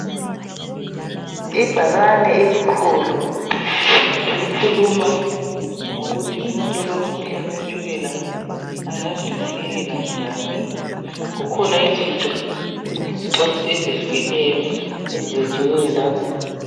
Ibhakane elikhulu elikhuluma ngokuthi umuntu olomkhuhlane wetshukela engazinakekela njani kukhona izinto izixwayiso ezehlukeneyo ezilotshiweyo lapha.